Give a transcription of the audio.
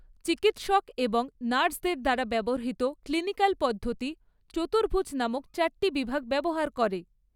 চিকিত্সক এবং নার্সদের দ্বারা ব্যবহৃত ক্লিনিকাল পদ্ধতি, চতুর্ভুজ নামক চারটি বিভাগ ব্যবহার করে।